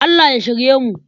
Allah ya shirye mu.